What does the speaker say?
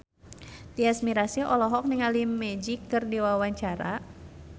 Tyas Mirasih olohok ningali Magic keur diwawancara